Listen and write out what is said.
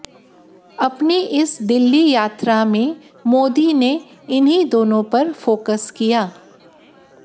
अपनी इस दिल्ली यात्रा में मोदी ने इन्हीं दोनों पर फोकस किया